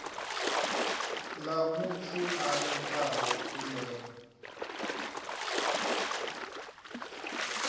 ḽa muthu a itaho khumbelo